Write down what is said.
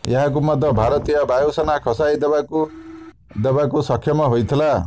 ଏହାକୁ ମଧ୍ୟ ଭାରତୀୟ ବାୟୁସେନା ଖସାଇ ଦେବାକୁ ଦେବାକୁ ସକ୍ଷମ ହୋଇଥିଲା